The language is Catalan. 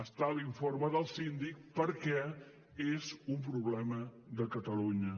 està a l’informe del síndic perquè és un problema de catalunya